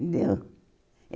Deu.